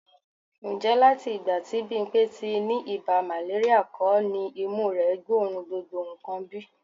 Ǹjẹ́ láti ìgbà tí Bímpé ti ní ibà màléríà kọ́ ni imú rẹ gbóòórùn gbogbo nǹkan bí?